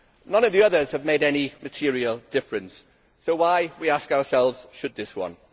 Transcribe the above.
None of the others have made any material difference so why, we ask ourselves, should this one?